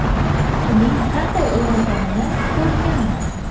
Uning qanday ulg‘ayganini ko‘rganman.